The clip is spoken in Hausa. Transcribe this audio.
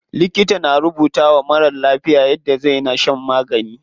Likita na rubutawa marar lafiya yadda zai na shan magani.